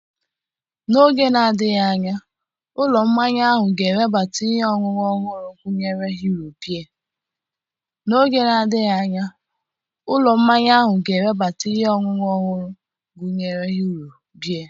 N'oge na-adịghị anya ụlọ mmanya ahụ ga-ewebata ihe ọṅụṅụ ọhụrụ gụnyere Hero Beer